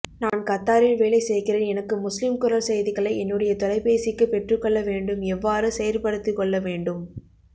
நான் கத்தாரில் வேலை செய்கிறேன் எனக்கு முஸ்லிம் குரல் செய்திகளை என்னுடைய தொலைப்பேசிக்கு பெற்றுக்கொள்ள வேண்டும் எவ்வாறு செயற்படுத்திக்கொள்ள வேண்டும்